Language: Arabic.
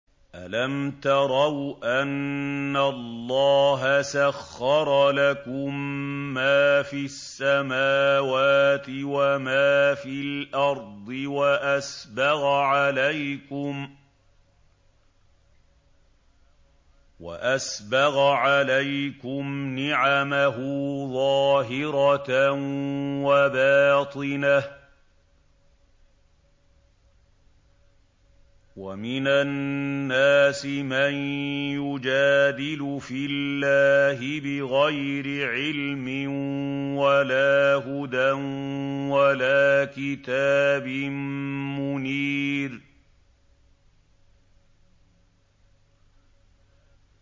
أَلَمْ تَرَوْا أَنَّ اللَّهَ سَخَّرَ لَكُم مَّا فِي السَّمَاوَاتِ وَمَا فِي الْأَرْضِ وَأَسْبَغَ عَلَيْكُمْ نِعَمَهُ ظَاهِرَةً وَبَاطِنَةً ۗ وَمِنَ النَّاسِ مَن يُجَادِلُ فِي اللَّهِ بِغَيْرِ عِلْمٍ وَلَا هُدًى وَلَا كِتَابٍ مُّنِيرٍ